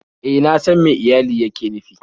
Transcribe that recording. E, na san me iyali yake nufi